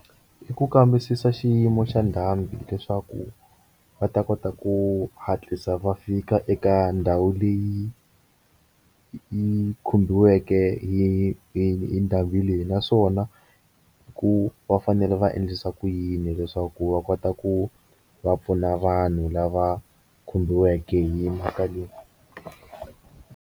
I ku kambisisa xiyimo xa ndhambi leswaku va ta kota ku hatlisa va fika eka ndhawu leyi yi khomiweke hi hi ni endhawini leyi naswona ku va fanele va endlisa ku yini leswaku va kota ku va pfuna vanhu lava khomiweke hi mhaka leyi.